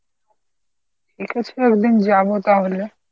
ঠিকাছে একদিন যাবো তাহলে।